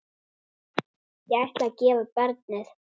Ég ætla að gefa barnið.